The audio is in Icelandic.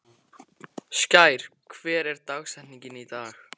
Skær, hver er dagsetningin í dag?